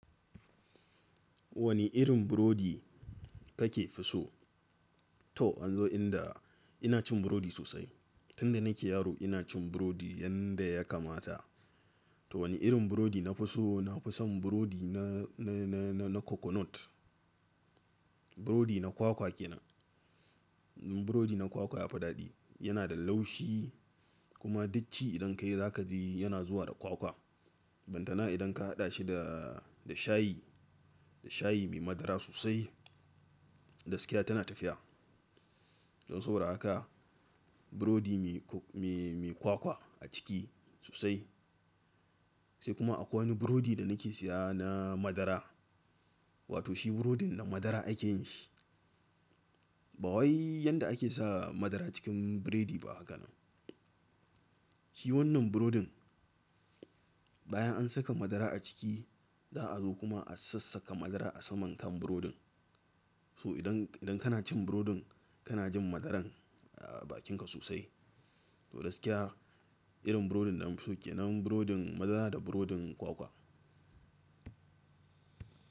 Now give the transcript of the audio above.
Wani irin burodi kake fi so? To anzo inda ina cin burodi sosai. Tun da nake yaro ina cin burodi yanda ya kamata. To wane irin burodi na fi so, nafi son burodi na, na, na, na, na coconut. Burodi na kwakwa kenan. Burodi na kwakwa yafi daɗi. Yana da laushi kuma ducci idan ka yi zakaji yana zuwa da kwakwa. Barantana idan ka haɗa shi da, da shayi, da shayi mai madara sosai, gaskiya tana tafiya. Don saboda haka burodi mai, mai, mai kwakwa a ciki sosai. Sai kuma akwai wani burodi da nake siya na madara. Wato shi burodin na madara akeyin shi. Ba wai yanda ake sa madara cikin burodi ba hakanan. Shi wannan burodin bayan an saka madara a ciki, za a zo kuma a sassaka madara a saman kan burodin. To idan, idan kana cin burodin kana jin madaran a bakinka sosai. To gaskiya irin burodin da nafi so kenan, burodin madara da burodin kwakwa.